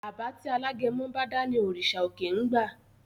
Àbá tí alágẹmọ bá dá ní òrìṣà òkè ń gba.